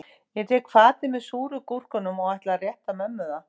Ég tek fatið með súru gúrkunum og ætla að rétta mömmu það